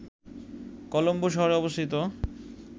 কলম্বো শহরে অবস্থিত